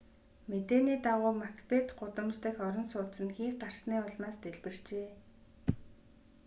мэдээний дагуу макбет гудамж дахь орон сууц нь хий гарсны улмаас дэлбэрчээ